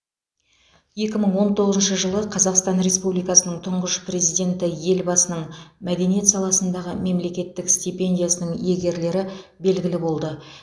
екі мың он тоғызыншы жылы қазақстан республикасының тұңғыш президенті елбасының мәдениет саласындағы мемлекеттік стипендиясының иегерлері белгілі болды